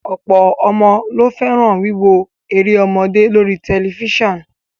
Ọ̀pọ̀ ọmọ ló fẹ́ràn wíwo eré ọmọdé lóri tẹlifíṣàn